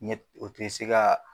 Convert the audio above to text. Ɲɛ o tɛ se ka